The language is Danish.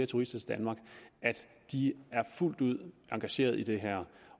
turister til danmark er fuldt ud engageret i det her